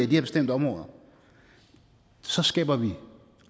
her bestemte områder og så skaber vi